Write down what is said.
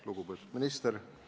Lugupeetud minister!